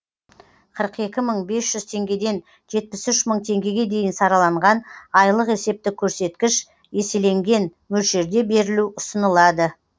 қырық екі мың бес жүз теңгеден жетпіс үш мың теңгеге дейін сараланған айлық есептік көрсеткіш еселенген мөлшерде берілу ұсынылады